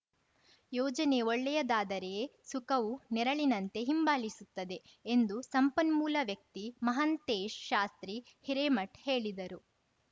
ಯೋಚನೆ ಒಳ್ಳೆಯದಾದರೇಯೇ ಸುಖವು ನೆರಳಿನಂತೆ ಹಿಂಬಾಲಿಸುತ್ತದೆ ಎಂದು ಸಂಪನ್ಮೂಲ ವ್ಯಕ್ತಿ ಮಹಾಂತೇಶ್ ಶಾಸ್ತ್ರೀ ಹಿರೇಮಠ್ ಹೇಳಿದರು